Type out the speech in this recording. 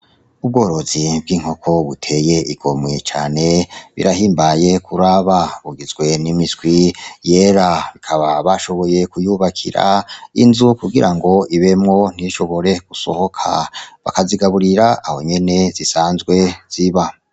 Ubworozi bw'inkoko buteye igomwe cane, birahimbaye kuraba. Bugizwe n'imiswi yera, bakaba bashoboye kuyubakira inzu kugira ibemwo ntishobore gusohoka, bakazigaburira aho nyene zisanzwe ziba.